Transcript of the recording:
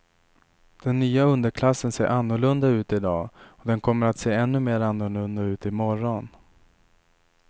Den nya underklassen ser annorlunda ut i dag och den kommer att se ännu mer annorlunda ut i morgon.